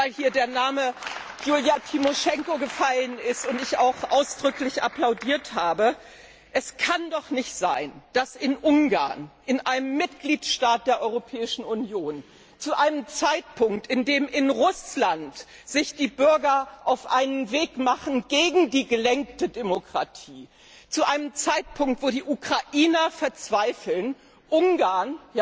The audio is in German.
Und weil hier der Name Julija Tymoschenko gefallen ist und ich auch ausdrücklich applaudiert habe Es kann doch nicht sein, dass in Ungarn, in einem Mitgliedstaat der Europäischen Union, zu einem Zeitpunkt, zu dem sich in Russland die Bürger auf einen Weg gegen die gelenkte Demokratie machen, zu einem Zeitpunkt, zu dem die Ukrainer verzweifeln, Ungarn